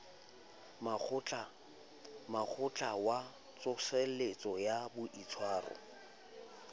mokgatlo wa tsoseletso ya boitshwaro